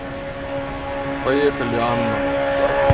поехали анна